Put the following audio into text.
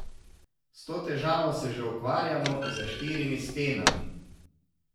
S to težavo se že ukvarjamo, za štirimi stenami.